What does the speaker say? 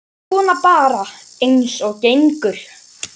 Svona bara eins og gengur.